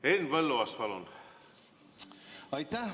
Henn Põlluaas, palun!